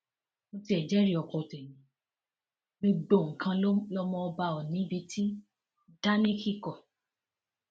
mo tiẹ jẹrìí ọkọ tẹmí ò gbogbo nǹkan lọmọ ọba ò ní bíi ti dáníǹkì kọ